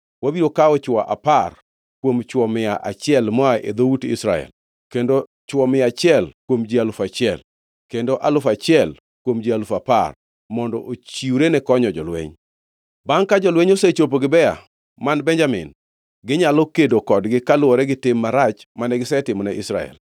Wabiro kawo chwo apar kuom chwo mia achiel moa e dhout Israel, kendo chwo mia achiel kuom ji alufu achiel, kendo alufu achiel kuom ji alufu apar, mondo ochiwre ne konyo jolweny. Bangʼ, ka jolweny osechopo Gibea man Benjamin, ginyalo kedo kodgi kaluwore gi tim marach mane gisetimone Israel.”